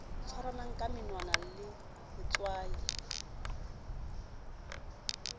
tshwarwang ka menwana sa letswai